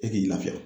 E k'i lafiya